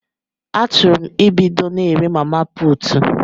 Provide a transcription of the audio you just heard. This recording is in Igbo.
Achuru 'm ebudo na ere mama putu